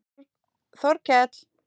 Þorkell